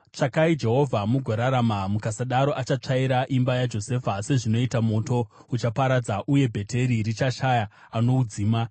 Tsvakai Jehovha mugorarama, mukasadaro achatsvaira imba yaJosefa sezvinoita moto; uchaparadza, uye Bheteri richashaya anoudzima.